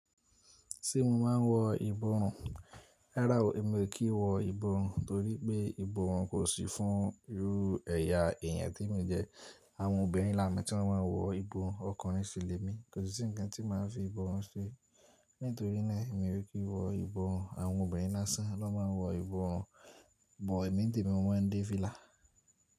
Ṣé mo máa n wọ ìbọrùn? Rárá o, emi ò kí wọ ìbọrùn torí pé ìbọrùn kò sí fún irú ẹ̀yà èyàn tí emi jẹ́. Àwọn obìnrin làá mẹta ló ma n wọ ìbọrùn ọkùnrin fi lẹ́mi, kò sí ǹkan tí máa fi ìbọrùn ṣe. Nítorí náà mi ò kí wọ ìbọrùn. Àwọn obìnrin lásán ló ma n wọ ìbọrùn, bọ̀ èmi n te mi ò mọ̀ ń dé vila.